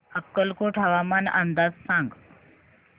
अक्कलकोट हवामान अंदाज सांग